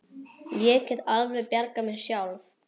Ég get alveg bjargað mér sjálf!